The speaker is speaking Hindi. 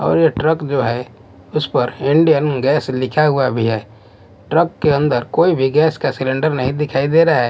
और ये ट्रक जो है उस पर इंडियन गैस लिखा हुआ भी है ट्रक के अंदर कोई भी गैस का सिलेंडर नहीं दिखाई दे रहा है।